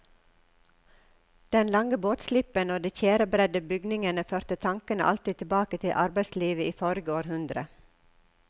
Den lange båtslippen og de tjærebredde bygningene førte tanken alltid tilbake til arbeidslivet i forrige århundre.